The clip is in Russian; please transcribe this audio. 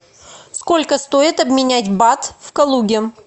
сколько стоит обменять бат в калуге